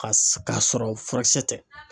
Ka sɔrɔ furakisɛ tɛ.